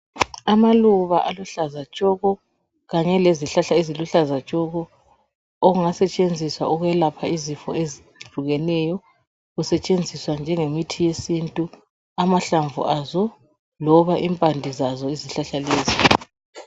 Amaluba aluhlaza tshoko kanye lezihlahla eziluhlaza tshoko okungasetshenziswa ukulapha izifo ezihlukeneyo kusetshenziswa njengemithi yesintu amahlamvu azo, loba impande zazo izihlahla lezi.